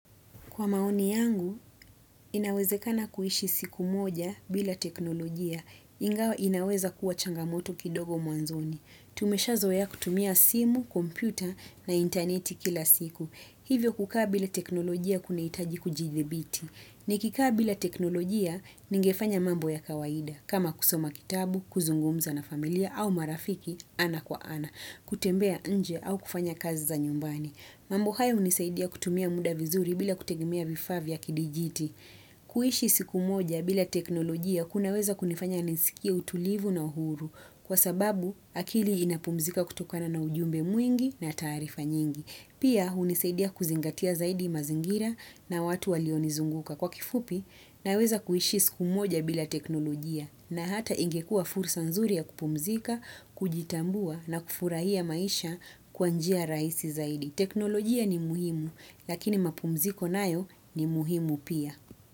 Kwa maoni yangu, inawezekana kuishi siku moja bila teknolojia. Inaweza kuwa changamoto kidogo mwanzoni. Tumeshazoea kutumia simu, kompyuta na interneti kila siku. Hivyo kukaa bila teknolojia kunaitaji kujidhibiti. Nikikaa bila teknolojia, ningefanya mambo ya kawaida. Kama kusoma kitabu, kuzungumza na familia au marafiki ana kwa ana. Kutembea nje au kufanya kazi za nyumbani. Mambo haya unisaidia kutumia muda vizuri bila kutegemea vifaa vya kidijiti. Kuhishi siku moja bila teknolojia kunaweza kunifanya nisikie utulivu na uhuru kwa sababu akili inapumzika kutokana na ujumbe mwingi na taarifa nyingi. Pia hunisaidia kuzingatia zaidi mazingira na watu walionizunguka. Kwa kifupi naweza kuhishi siku moja bila teknolojia na hata ingekuwa fursa nzuri ya kupumzika, kujitambua na kufurahia maisha kwa njia raisi zaidi. Teknolojia ni muhimu, lakini mapumziko nayo ni muhimu pia.